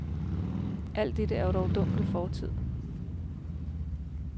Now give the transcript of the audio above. Alt dette er dog dunkel fortid.